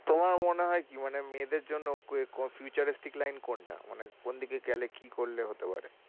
তোমার মনে হয় কি মানে মেয়েদের জন্য futuristic line কোনটা? মানে কোন দিকে গেলে কি করলে হতে পারে?